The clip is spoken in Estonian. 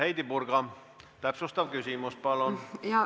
Heidy Purga, täpsustav küsimus, palun!